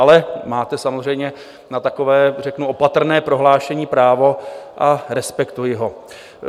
Ale máte samozřejmě na takové řeknu opatrné prohlášení právo a respektuji ho.